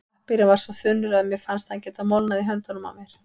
Pappírinn var svo þunnur að mér fannst hann geta molnað í höndunum á mér.